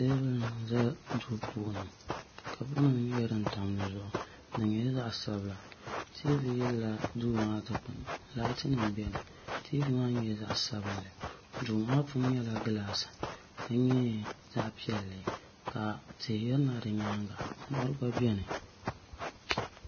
teebuli n-za duu puuni kaapunima nyɛla din tam di zuɣu di nyɛla zaɣ' sabila tiivi yiliya duu maa dukpuni laatinima beni tiivi maa nyɛla zaɣ' sabinli duu maa puuni nyɛla gilaasi ka nyɛ zaɣ' piɛlli ka tihi yirina di nyaaga mɔri gba beni.